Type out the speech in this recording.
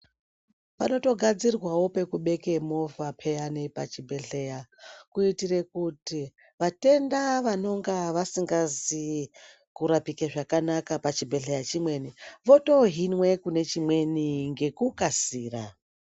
Panotogadzirwawo pekubeke movha pheyani pachibhedhleya, kuitire kuti, vatenda vanonga vasingazi kurapike zvakanaka pachibhedhleya chimweni, votoohinwe kune chimweni ngekukasira.